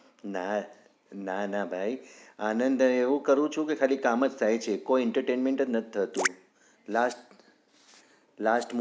ના ના ભાઈ આનંદ એવું કરુંછુ કામજ થાય છે કોઈ entertainment નથ થતું last last